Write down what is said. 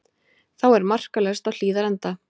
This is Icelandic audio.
Þá er markalaust á Hlíðarenda